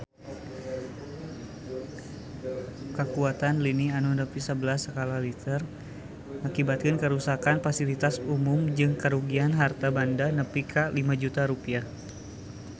Kakuatan lini nu nepi sabelas skala Richter ngakibatkeun karuksakan pasilitas umum jeung karugian harta banda nepi ka 5 juta rupiah